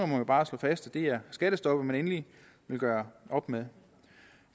må bare slå fast at det er skattestoppet man endeligt vil gøre op med